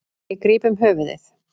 Ég gríp um höfuðið.